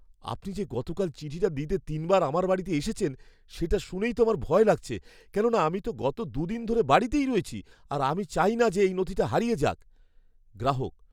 আপনি যে গতকাল চিঠিটা দিতে তিনবার আমার বাড়িতে এসেছেন, সেটা শুনেই তো আমার ভয় লাগছে, কেননা আমি তো গত ২ দিন ধরে বাড়িতেই রয়েছি আর আমি চাই না যে এই নথিটা হারিয়ে যাক। (গ্রাহক)